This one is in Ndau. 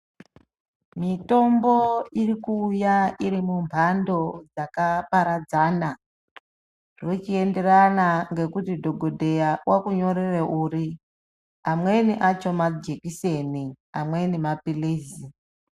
Mitombo iri kuuya iri munhando dzakaparadzana zvochienderana ngekuti dhokodheya okunyorera uri amweni acho majekiseni amweni mapilizi.